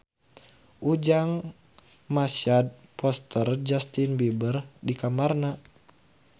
Ujang masang poster Justin Beiber di kamarna